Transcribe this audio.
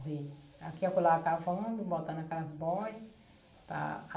Dei. Aqui e acolá cavando, botando aquelas boia, para